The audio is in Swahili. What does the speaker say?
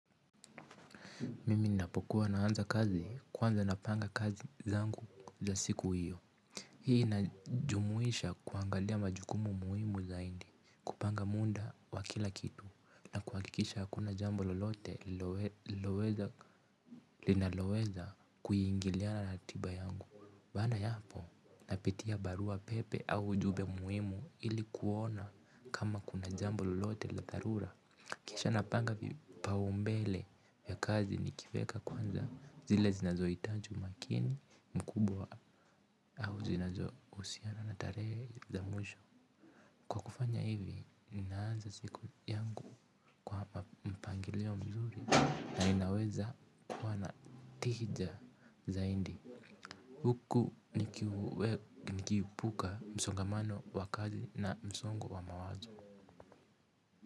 Mimi ninapokuwa naanza kazi kwanza napanga kazi zangu za siku iyo. Hii inajumuisha kuangalia majukumu muhimu zaidi kupanga muda wa kila kitu. Na kuhakikisha hakuna jambo lolote linaloweza kuiingiliana na ratiba yangu baada yapo napitia barua pepe au ujumbe muhimu ili kuona kama kuna jambo lolote la dharura. Kisha napanga vipaumbele ya kazi nikivieka kwanza zile zinazohitaji makini mkubwa au zinazohusiana na tarehe za mwisho. Kwa kufanya hivi, ninaanza siku yangu mpangilio mzuri na ninaweza kuwa na tija zaidi. Huku nikiepuka msongamano wa kazi na msongo wa mawazo.